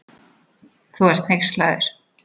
Þú ert hneykslaður.